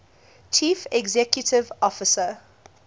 chief executive officer